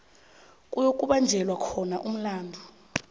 kuyokubanjelwa khona umhlangano